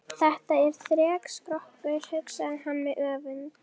Þetta er þrekskrokkur, hugsaði hann með öfund.